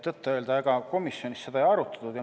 Tõtt-öelda, ega komisjonis seda ei arutatud.